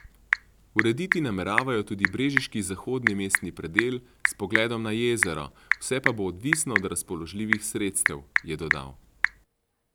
Urediti nameravajo tudi brežiški zahodni mestni predel s pogledom na jezero, vse pa bo odvisno od razpoložljivih sredstev, je dodal.